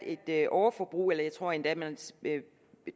et overforbrug eller jeg tror endda